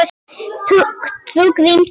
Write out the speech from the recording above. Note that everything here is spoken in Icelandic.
Trú Gríms er hjá honum.